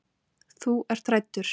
Þú ert hræddur.